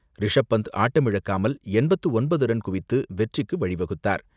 ரிஷப் பந்த் ஆட்டமிழக்காமல் எண்பத்து ஒன்பது ரன் குவித்து வெற்றிக்கு வழிவகுத்தார்.